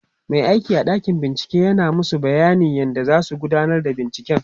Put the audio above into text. Mai aiki a ɗakin bincike yana masu bayanin yadda zasu gudanar da binciken